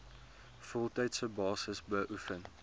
voltydse basis beoefen